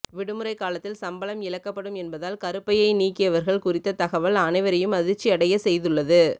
விடுமுறை காலத்தில் சம்பளம் இழக்கப்படும் என்பதால் கருப்பையை நீக்கியவர்கள் குறித்த தகவல் அனைவரையும் அதிர்ச்சி அடைய செய்துள்ளது